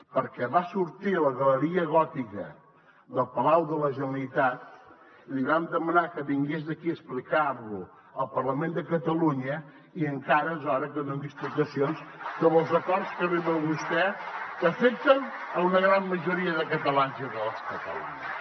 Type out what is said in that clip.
perquè va sortir a la galeria gòtica del palau de la generalitat li vam demanar que vingués aquí a explicar lo al parlament de catalunya i encara és hora que doni explicacions sobre els acords a què arriba vostè que afecten una gran majoria dels catalans i de les catalanes